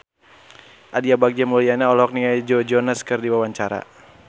Aditya Bagja Mulyana olohok ningali Joe Jonas keur diwawancara